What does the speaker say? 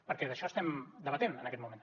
perquè d’això estem debatent en aquest moment